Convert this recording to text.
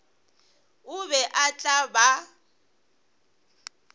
o be o tla ba